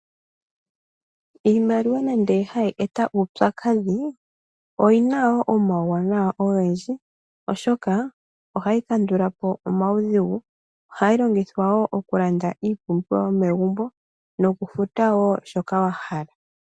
Iimaliwa nande hayi eta uupyakadhi oyina wo omauwanawa ogendji, oshoka ohayi kandula po omaudhigu. Ohayi longithwa wo okulanda iipumbiwa yomegumbo nokufuta wo shoka wa hala.